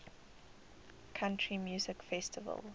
country music festival